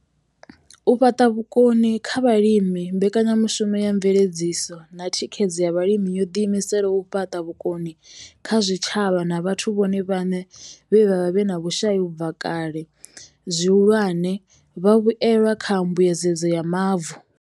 U fhaṱa vhukoni kha vhalimi mbekanyamushumo ya mveledziso na thikhedzo ya vhalimi yo ḓiimisela u fhaṱa vhukoni kha zwitshavha na vhathu vhone vhaṋe vhe vha vha vhe na vhushai u bva kale, zwihulwane, vhavhuelwa kha mbuedzedzo ya mavu.